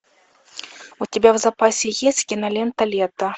у тебя в запасе есть кинолента лето